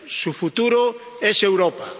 Su futuro es Europa.